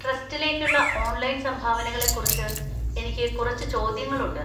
ട്രസ്റ്റിലേക്കുള്ള online സംഭാവനകളെക്കുറിച്ച് എനിക്ക് കുറച്ച് ചോദ്യങ്ങളുണ്ട്.